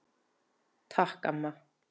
Takk, amma.